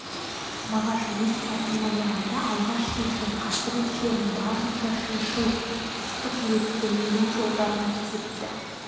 мағаш өз хатының аяғында алғаш сезген қасірет шерін барынша шыншыл ыстық жүрекпен өлең жолдарына тізіпті